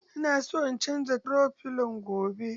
Ina son in canza toro filon gobe.